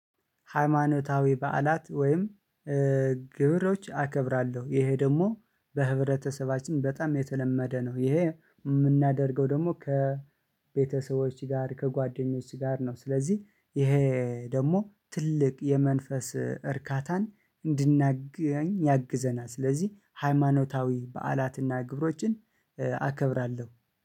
ሃይማኖታዊ በዓላት ወይም ግብሮች አከብራለሁ ይሄ ደግሞ በህብረተሰባችን በጣም የተለመደ ነው። ይሄ የምናደርገው ደግሞ ከቤተሰቦች ጋር ከጓደኞች ጋር ነው። ስለዚህ ይሄ ደግሞ ትልቅ የመንፈስ እርካታን እንድናገኝ ያግዘናል። ስለዚህ ሃይማኖታዊ በዓላትና ግብሮችን አከብራለሁ